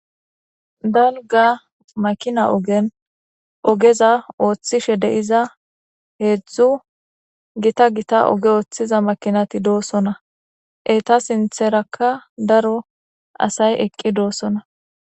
Dalgga makina oogen oogeza ooththishe de'iza hedzdzu gita gita ogge ooththiza makonati dossonna eetta sinththerakka daro asay eqii de'ios